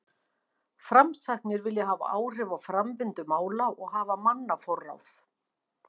Framsæknir vilja hafa áhrif á framvindu mála og hafa mannaforráð.